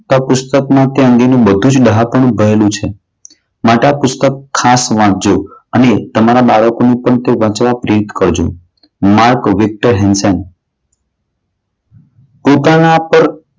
તો પુસ્તકમાં તે અંગેનું બધું જ ડહાપણું ભરેલું છે. માટે આ પુસ્તક ખાસ વાંચજો અને તમારા બાળકોને પણ તે વાંચવા પ્રેરિત કરજો. માર્ક વિક્ટર હેન્ડસન પોતાના પર